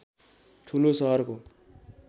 ठूलो सहर हो